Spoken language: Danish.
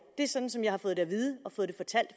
det er sådan som jeg har fået det at vide og fået det fortalt